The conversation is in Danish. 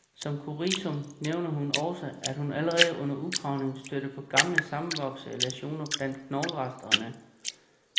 Som kuriosum nævner hun også, at hun allerede under udgravningen stødte på gamle, sammenvoksede læsioner blandt knogleresterne.